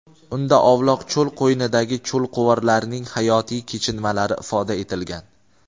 Unda ovloq cho‘l qo‘ynidagi cho‘lquvarlarning hayotiy kechinmalari ifoda etilgan.